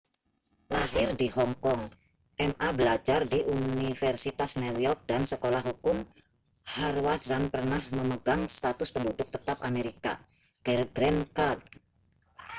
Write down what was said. lahir di hong kong ma belajar di universitas new york dan sekolah hukum harvard dan pernah memegang status penduduk tetap amerika green card